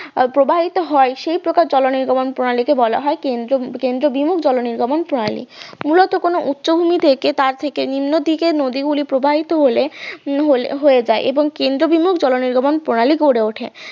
প্রবাহিত হয় তখন সেই প্রকার জননির্গমন প্রণালীকে বলা হয় কেন্দ্র বিমল জল নির্গমন প্রণালী মূলত উচ্চভূমি থেকে তার থেকে নিম্নদিকে নদীগুলি প্রবাহিত হলে হয়ে যায় কেন্দ্র বিমুল জল নির্গমন প্রণালী গড়ে ওঠে